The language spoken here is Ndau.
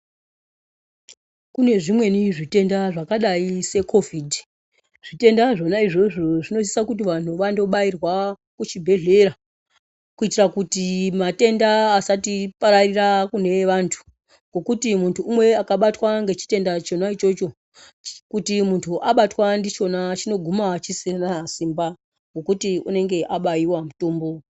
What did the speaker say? Kune zvimweni zvitenda zvakadai se kovhidhi zvitenda zvona izvozvo zvinosisa kuti vantu vando bairwa ku chibhedhlera kuitira kuti matenda asati pararira kune vantu ngekuti muntu umwe akabatwa ne chitenda chona ichocho kuti muntu abatwa ndichona chino guma chisisina simba ngekuti unenge abayiwa mutombo.